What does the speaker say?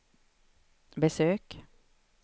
besök